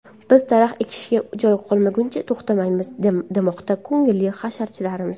Biz daraxt ekishga joy qolmaguncha to‘xtamaymiz, demoqda ko‘ngilli hasharchilarimiz.